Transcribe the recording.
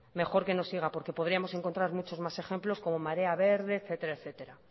mejor que no siga porque podríamos encontrar más ejemplos como marea verde etcétera etcétera